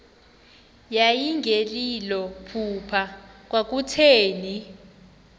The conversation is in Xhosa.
yayingelilo phupha kwakutheni